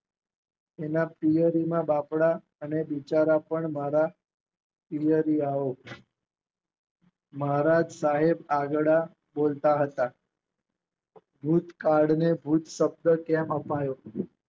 અને પિયરીમાં બાપરા અને બિચારા પણ મારા પિયરિયાઓ મારા સાહેબ આગળ બોલતા હતા. ભૂકાળને ભૂત શબ્દ કેમ અપાયો